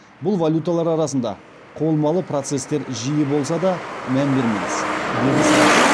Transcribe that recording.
бұл валюталар арасында құбылмалы процесстер жиі болса да мән бермеңіз деді сарапшы